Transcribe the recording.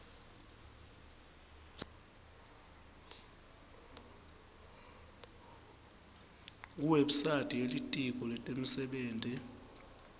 kuwebsite yelitiko letemisebenti